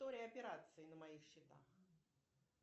история операций на моих счетах